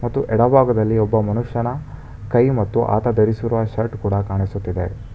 ಮತ್ತು ಎಡಭಾಗದಲ್ಲಿ ಒಬ್ಬ ಮನುಷ್ಯನ ಕೈ ಮತ್ತು ಆತ ಧರಿಸಿರುವ ಶರ್ಟ್ ಕೂಡ ಕಾಣಿಸುತ್ತಿದೆ.